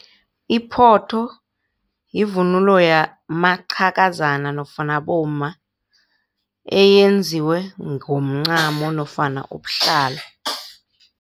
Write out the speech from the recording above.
Iphotho yivunulo yamaqhakazana nofana abomma eyenziwe ngomncamo nofana ubuhlali.